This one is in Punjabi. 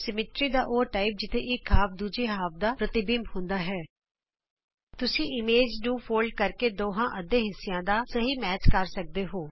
ਸਮਮਿਤੀ ਦੀ ਉਹ ਕਿਸਮ ਜਿਥੇ ਇਕ ਅੱਧ ਦੂਜੇ ਅੱਧੇ ਦਾ ਪ੍ਰਤਿਬਿੰਬ ਹੁੰਦਾ ਹੈ ਤੁਸੀਂ ਇਮੇਜ ਨੂੰ ਫੋਲਡ ਕਰਕੇ ਦੋਹਾਂ ਅੱਧੇ ਹਿੱਸਿਆਂ ਦਾ ਸਹੀ ਮਿਲਾਨ ਕਰ ਸਕਦੇ ਹੋ